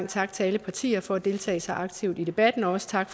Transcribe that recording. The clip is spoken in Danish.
tak til alle partier for at deltage så aktivt i debatten og også tak